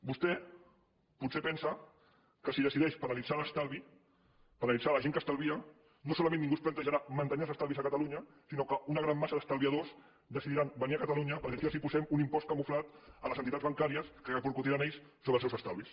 vostè potser es pensa que si decideix penalitzar l’estalvi penalitzar la gent que estalvia no solament ningú es plantejarà mantenir els estalvis a catalunya sinó que una gran massa d’estalviadors decidiran venir a catalunya perquè aquí els posem un impost camuflat a les entitats bancàries que repercutiran ells sobre els seus estalvis